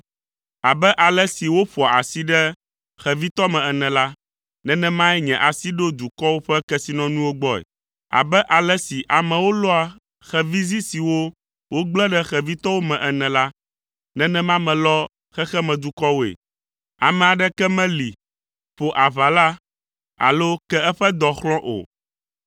Abe ale si woƒoa asi ɖe xevitɔ me ene la, nenemae nye asi ɖo dukɔwo ƒe kesinɔnuwo gbɔe; abe ale si amewo lɔa xevizi siwo wogble ɖe xevitɔwo me ene la, nenema melɔ xexeme dukɔwoe: ame aɖeke meli, ƒo aʋala alo ke eƒe dɔ xlɔ̃ o.’ ”